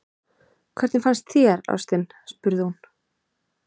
Hvernig fannst þér, ástin? spurði hún.